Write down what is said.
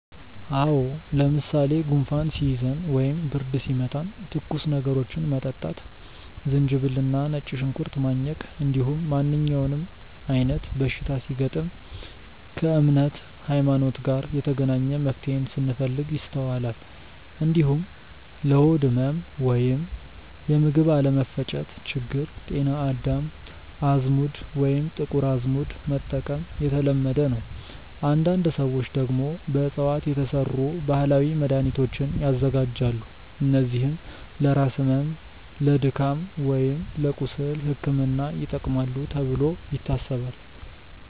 አዎ። ለምሳሌ ጉንፋን ሲይዘን ወይም ብርድ ሲመታን ትኩስ ነገሮችን መጠጣት፣ ዝንጅብል እና ነጭ ሽንኩርት ማኘክ፣ እንዲሁም ማንኛውም አይነት በሽታ ሲገጥም ከእምነት (ሀይማኖት) ጋር የተገናኘ መፍትሄን ስንፈልግ ይስተዋላል። እንዲሁም ለሆድ ህመም ወይም የምግብ አለመፈጨት ችግር ጤና አዳም፣ አዝሙድ ወይም ጥቁር አዝሙድ መጠቀም የተለመደ ነው። አንዳንድ ሰዎች ደግሞ በእፅዋት የተሰሩ ባህላዊ መድሃኒቶችን ያዘጋጃሉ፣ እነዚህም ለራስ ህመም፣ ለድካም ወይም ለቁስል ሕክምና ይጠቅማሉ ተብሎ ይታሰባል።